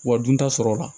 Wa dun ta sɔrɔla